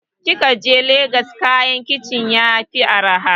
idan kikaje lagos kayan kicin sai yafi araha